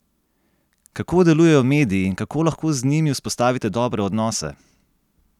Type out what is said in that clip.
Kako delujejo mediji in kako lahko z njimi vzpostavite dobre odnose?